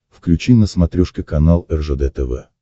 включи на смотрешке канал ржд тв